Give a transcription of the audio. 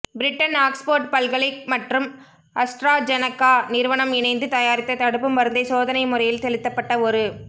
Britain Oxford பல்கலை மற்றும் AstraZeneca நிறுவனம் இணைந்து தயாரித்த தடுப்பு மருந்தை சோதனை முறையில் செலுத்தப்பட்ட ஒரு